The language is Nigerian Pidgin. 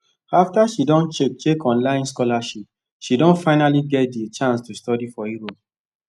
after she don check check online scholarship she don finally get d chance to study for europe